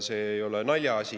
See ei ole naljaasi.